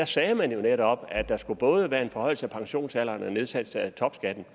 sagde man jo netop at der skulle både være en forhøjelse af pensionsalderen og nedsættelse af topskatten